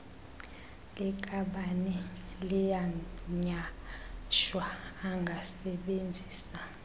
likabani liyanyhashwa angasebenzisa